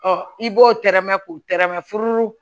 Ɔ i b'o tɛrɛmɛ k'o tɛrɛmɛ furu